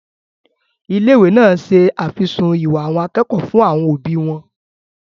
Ilé-ìwé náà se àfisùn ìwà àwọn akẹ́kọ̀ọ́ fún àwọn òbí wọn.